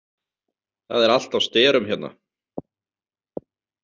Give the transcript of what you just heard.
Það er allt á sterum hérna